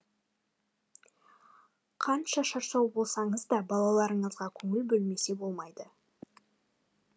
қанша шаршау болсаңыз да балаларыңызға көңіл бөлмесе болмайды